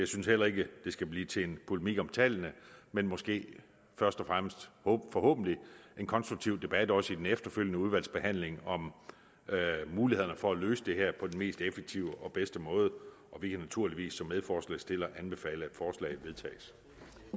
synes heller ikke det skal blive til en polemik om tallene men måske først og fremmest forhåbentlig en konstruktiv debat også i den efterfølgende udvalgsbehandling om mulighederne for at løse det her på den mest effektive og bedste måde og vi kan naturligvis som medforslagsstillere anbefale